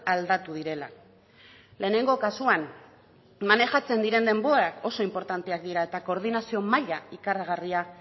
aldatu direla lehenengo kasuan manejatzen diren denborak oso inportanteak dira eta koordinazio maila ikaragarria